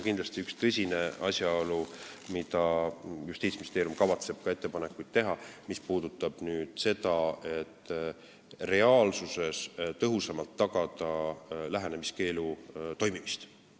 Üks tõsine asjaolu, mille kohta Justiitsministeerium kavatseb ettepanekuid teha, puudutab seda, kuidas reaalsuses tõhusamalt tagada lähenemiskeelu toimimist.